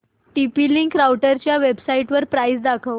TP link राउटरच्या वेबसाइटवर price दाखव